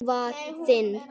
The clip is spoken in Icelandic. Hann var þinn.